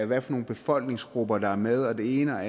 hvad for nogle befolkningsgrupper der er med og det ene og